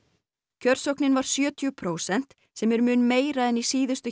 kjörsóknin var sjötíu prósent sem er mun meira en í síðustu